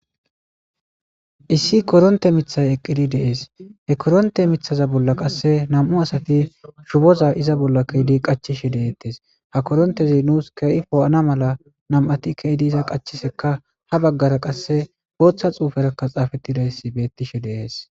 Issi koronte mithy eqid de'es. He koronte mithaza bolla qase 2 asat iza bolla kezid qachishe detes. Ha korontez nus keeh po'ana mala 2ti ke'id iza qachisheka ha bagara qase Botha xuferaka xafetidays betishe Des.